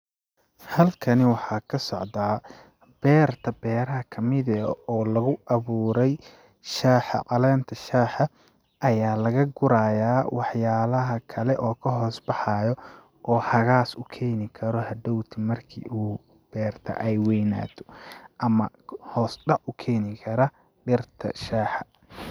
Halkani waxaa ka socdaa beerta beeraha kamid eh oo lagu awuuray shaaha, caleenta shaaha ayaa laga guraayaa wax yaalaha kale oo ka hoos baxaayo oo hagaas u keeni karo hadhoow ti marki uu beerta ay weeynaato ama hoos dhac u keeni kara dhirta shaaha.